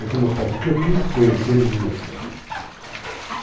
Aí foi mostrado o que eu quis conhecer e eles me mostraram.